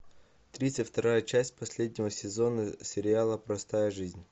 тридцать вторая часть последнего сезона сериала простая жизнь